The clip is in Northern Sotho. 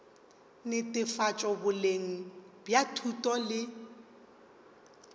netefatšo boleng bja thuto le